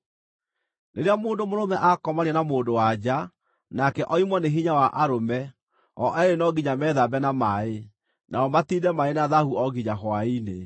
Rĩrĩa mũndũ mũrũme akomania na mũndũ-wa-nja, nake oimwo nĩ hinya wa arũme, o eerĩ no nginya methambe na maaĩ, nao matiinde marĩ na thaahu o nginya hwaĩ-inĩ.